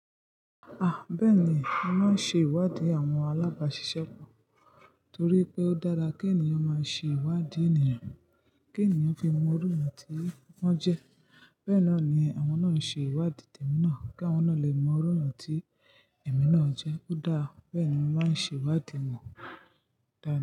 Ah! Bẹ́ẹ̀ni, mo máa ń ṣe ìwádìí àwọn alábàáṣiṣẹ́ pọ̀ torí pé ó dára kí ènìyàn máa ṣe ìwádìí ènìyàn, kí ènìyàn fi mọ iru ẹ̀eyàn tí wọ́n jẹ́. Bẹ́ẹ̀ náà ni àwọn náà ṣe ìwádìí tèmi náà kí àwọn náà lè mọ iru ẹ̀yàn tí èmi náà jẹ́. Ó dáa, bẹ́ẹ̀ ni mo máa ń ṣe ìwádìí ẹ̀ni, dáa.